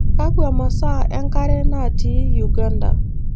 Kakwa masaa enkare natii Uganda?